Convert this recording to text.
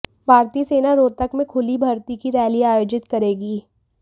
भारतीय सेना रोहतक में खुली भर्ती की रैली आयोजित करेगी